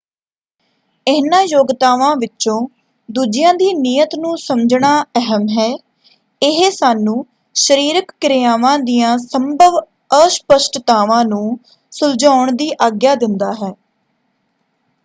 ਇਹਨਾਂ ਯੋਗਤਾਵਾਂ ਵਿੱਚੋਂ ਦੂਜਿਆਂ ਦੀ ਨੀਅਤ ਨੂੰ ਸਮਝਣਾ ਅਹਿਮ ਹੈ। ਇਹ ਸਾਨੂੰ ਸਰੀਰਕ ਕਿਰਿਆਵਾਂ ਦੀਆਂ ਸੰਭਵ ਅਸਪਸ਼ਟਤਾਵਾਂ ਨੂੰ ਸੁਲਝਾਉਣ ਦੀ ਆਗਿਆ ਦਿੰਦਾ ਹੈ।